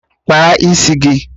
Kpaa isi gị!